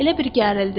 Elə bil gərildi.